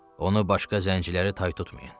Onu başqa zənciləri tay tutmayın.